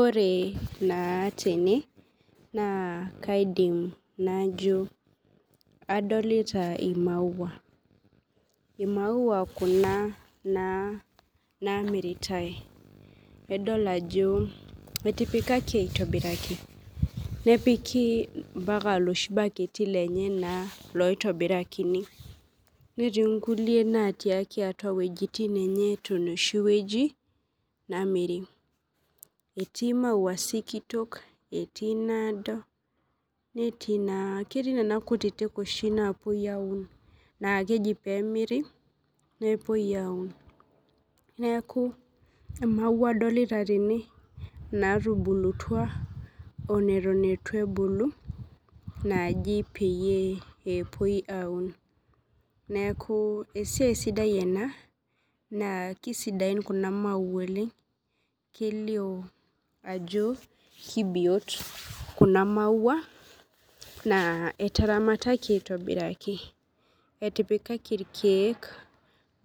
Ore na tene na kaidim najo adolita imaua imaua kuna namiritae adol ajo etipikaki aitobiraki nepiki loshi baketi lenye oitobirakini netii nkulie naati atua weujitin enye namiri etii maua sikitok etii nado netii na nona kutitik napuoi aun amu keji oshi pemiri nepuoi aun nekau emaua adolta tene natubulutwa onetu ebulu pepuoi aun neaku esiaia sidai ena na kisidain kuna maua amu kelio ajo kebiot kunamaua na etaramataki aitobiraki etipikaki irkiek